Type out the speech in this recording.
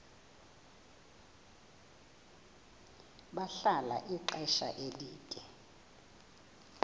bahlala ixesha elide